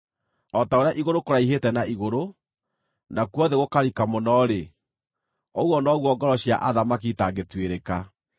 O ta ũrĩa igũrũ kũraihĩte na igũrũ, nakuo thĩ gũkarika mũno-rĩ, ũguo noguo ngoro cia athamaki itangĩtuĩrĩka.